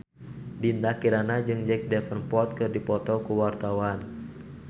Dinda Kirana jeung Jack Davenport keur dipoto ku wartawan